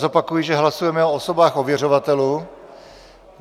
Zopakuji, že hlasujeme o osobách ověřovatelů.